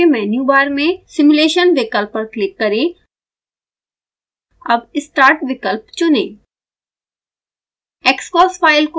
xcos window के menu bar में simulation विकल्प पर क्लिक करें अब start विकल्प चुनें